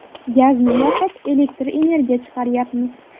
Gazni yoqib, elektr energiya chiqaryapmiz.